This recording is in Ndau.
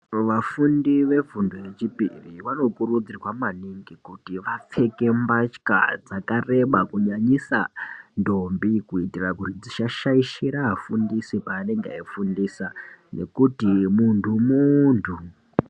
Vafundi vefundo yechipiri vanokurudzirwa maningi kuti vapfeke mbatya dzakareba kunyanyisa ndombi. Kuitira kuti dzisashaishira afundisi paanenge eifundisa nekuti muntu muntu.